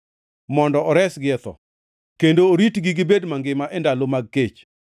mondo oresgi e tho kendo oritgi gibed mangima e ndalo mag kech.